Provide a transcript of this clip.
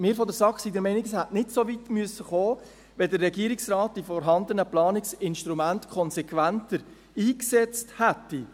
Wir von der SAK sind der Meinung, dass es nicht so weit hätte kommen müssen, wenn der Regierungsrat die vorhandenen Planungsinstrumente konsequenter eingesetzt hätte.